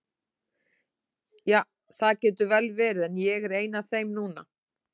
Ja, það getur vel verið, en ég er ein af þeim núna.